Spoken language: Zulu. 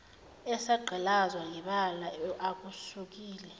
esagqilazwa ngebala akusukile